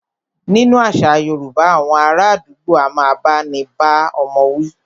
Nínú àṣà yorúbá, awọn ará àdúgbò a máà bá ní bá ọmọ wí.